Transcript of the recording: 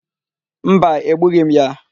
Mba, egbughị m ya.